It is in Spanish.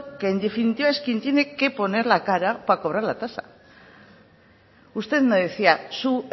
que en definitiva es quien tiene que poner la cara para poner la tasa usted me decía su